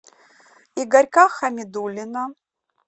игорька хамидуллина